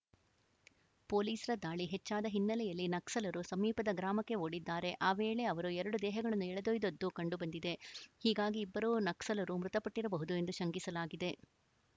ಪೊಲೀಸರ ದಾಳಿ ಹೆಚ್ಚಾದ ಹಿನ್ನೆಲೆಯಲ್ಲಿ ನಕ್ಸಲರು ಸಮೀಪದ ಗ್ರಾಮಕ್ಕೆ ಓಡಿದ್ದಾರೆ ಆ ವೇಳೆ ಅವರು ಎರಡು ದೇಹಗಳನ್ನು ಎಳೆದೊಯ್ದದ್ದು ಕಂಡು ಬಂದಿದೆ ಹೀಗಾಗಿ ಇಬ್ಬರೂ ನಕ್ಸಲರೂ ಮೃತಪಟ್ಟಿರಬಹುದು ಎಂದು ಶಂಕಿಸಲಾಗಿದೆ